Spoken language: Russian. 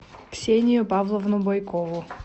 ксению павловну бойкову